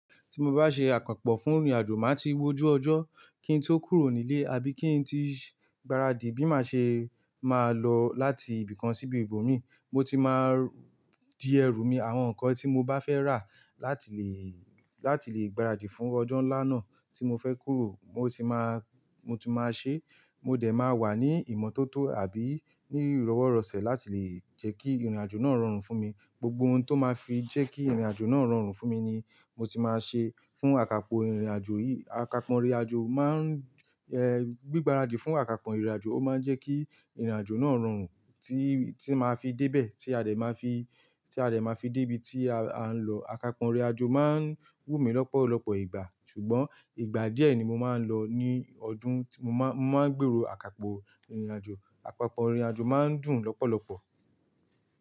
Tí mo bá ṣe àkànpò fún ìrìnàjò, màá tií wò ó jù ọjọ́ kí n tí ó kúrò nílé àbí kí n tí gbaradì bí màá ṣe máa lọ láti ibìkan síbi ibòmíì. Mo tí máa di ẹrú mi àwọn nǹkan tí mo bá fẹ́ rà láti lè, láti lè gbaradì fún ọjọ́ ńlá náà tí mo fẹ́ kúrò. Mo tí máa, mo tí máa ṣe, mo dẹ̀ máa wà ní ìmọ́tótó àbí ní ìrowọ́rosẹ̀ láti lè jẹ́ kí ìrìnàjò náà rọrùn fún mi. Gbogbo ohun tó máa fi jẹ́ kí ìrìnàjò náà rọrùn fún mi ni mo ti máa ṣe. Fún àkàpò ìrìnàjò yìí, àkàpò ìrìnàjò máa ń, eh, gbí gbaradì fún àkàpò ìrìnàjò, ó máa ń jẹ́ kí ìrìnàjò náà rọrùn tí, tí màá fi débẹ̀, tí a dẹ̀ máa fi, tí a dẹ̀ máa fi débi tí a ń lọ. Àkàpò ìrìnàjò máa ń wú mi lọ́pọ̀lọ́pọ̀ ìgbà, ṣùgbọ́n ìgbà díẹ̀ ni mo máa ń lọ ní ọdún. Mo má n, mo máa ń gbèrò àkàpò ìrìnàjò. Àpàpọ̀ ìrìnàjò máa ń dùn lọ́pọ̀lọ́pọ̀.